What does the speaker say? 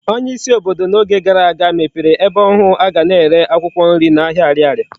Onye isi obodo na Oge gara aga mepere ebe ohu aga na ere akwukwo nri na ahia Ariaria